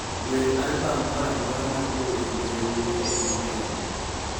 wer albam moro amora mar jower ma yawuowi e piny kenya